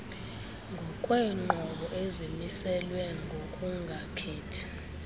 ngokweenqobo ezimiselwe ngokungakhethi